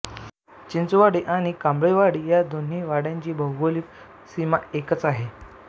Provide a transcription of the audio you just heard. चिंचवाडी आणि कांबळेवाडी या दोन्ही वाड्यांची भौगोलिक सीमा हे एकच आहे